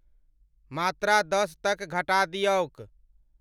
मात्रा दस तक घटा दियौक।